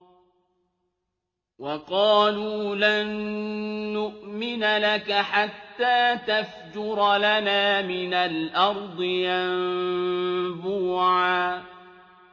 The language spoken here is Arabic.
وَقَالُوا لَن نُّؤْمِنَ لَكَ حَتَّىٰ تَفْجُرَ لَنَا مِنَ الْأَرْضِ يَنبُوعًا